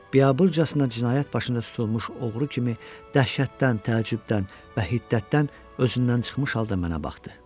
Biabırçasına cinayət başında tutulmuş oğru kimi dəhşətdən, təəccübdən və hiddətdən özündən çıxmış halda mənə baxdı.